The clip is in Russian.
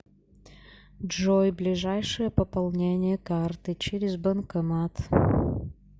джой ближайшее пополнение карты через банкомат